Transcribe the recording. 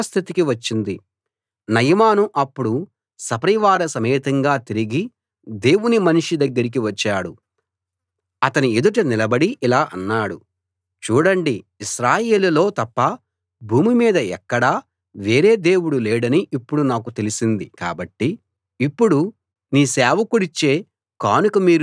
నయమాను అప్పుడు సపరివార సమేతంగా తిరిగి దేవుని మనిషి దగ్గరికి వచ్చాడు అతని ఎదుట నిలబడి ఇలా అన్నాడు చూడండి ఇశ్రాయేలులో తప్ప భూమి మీద ఎక్కడా వేరే దేవుడు లేడని ఇప్పుడు నాకు తెలిసింది కాబట్టి ఇప్పుడు నీ సేవకుడిచ్చే కానుక మీరు తీసుకోవాలి